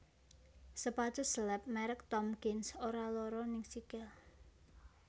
Sepatu slep merk Tomkins ora loro ning sikil